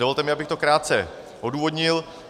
Dovolte mi, abych to krátce odůvodnil.